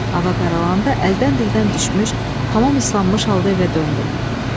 Hava qaralandan əldən-dildən düşmüş, tamam islanmış halda evə döndüm.